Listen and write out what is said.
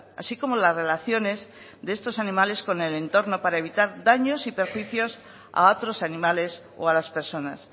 así como las relaciones de estos animales con en el entorno para evitar daños y perjuicios a otros animales o a las personas